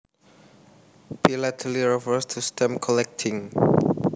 Philately refers to stamp collecting